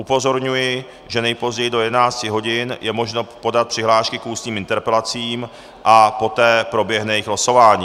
Upozorňuji, že nejpozději do 11 hodin je možno podat přihlášky k ústním interpelacím a poté proběhne jejich losování.